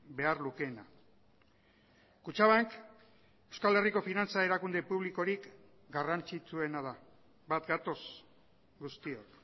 behar lukeena kutxabank euskal herriko finantza erakunde publikorik garrantzitsuena da bat gatoz guztiok